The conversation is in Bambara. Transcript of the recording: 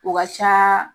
O ka can